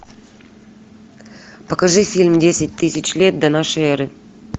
покажи фильм десять тысяч лет до нашей эры